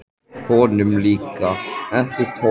Honum líkaði ekki tónninn í rödd tengdaföður síns.